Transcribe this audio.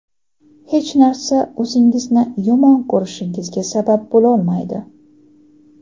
Hech narsa o‘zingizni yomon ko‘rishingizga sabab bo‘lolmaydi.